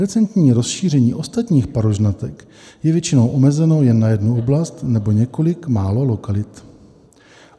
Recentní rozšíření ostatních parožnatek je většinou omezeno jen na jednu oblast nebo několik málo lokalit.